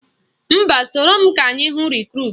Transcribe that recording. Mba, soro m ka anyị hụ Rekrut